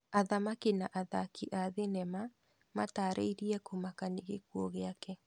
Athamaki na athaki a thinema matarĩrie kumaka nĩ gĩkũo gĩake